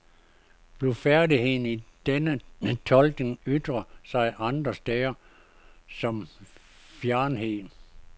Blufærdigheden i denne tolkning ytrede sig andre steder som fjernhed.